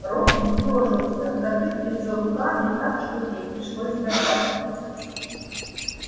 робби съёжился закрыв лицо руками так что ей пришлось добавить